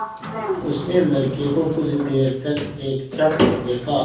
उसने लड़के को कुछ देर तक एकटक देखा